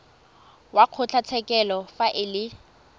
wa kgotlatshekelo fa e le